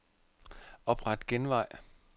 Opret genvej.